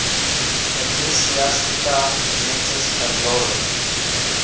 ecclesiastica gentis anglorum